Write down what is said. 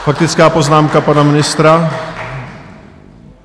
Faktická poznámka pana ministra.